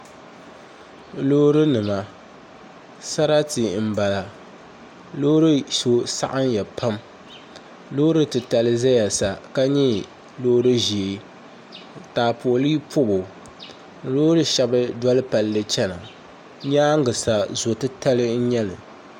Loori nima sarati n bala loori so saɣamya pam loori titali ʒɛya sa ka nyɛ loori ʒiɛ taapooli pobo loori shɛli doli palli chɛna nyaangi sa zo titali n nyɛli